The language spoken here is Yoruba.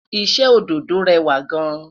iṣẹ ododo rẹwa gaan